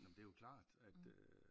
Nåh men det jo klart at øh